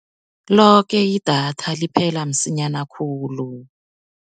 Loke idatha liphela msinyana khulu.